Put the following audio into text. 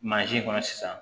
kɔnɔ sisan